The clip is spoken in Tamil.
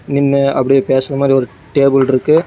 நின்னு அப்படியே பேசுற மாரி ஒரு டேபிள் இருக்கு.